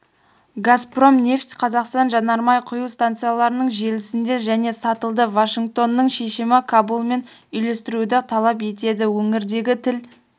газпром нефть-қазақстан жанармай құю станцияларының желісінде және сатылды вашингтонның шешімі кабулмен үйлестіруді талап етеді өңірдегі тіл